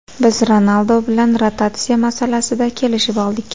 Biz Ronaldu bilan rotatsiya masalasida kelishib oldik.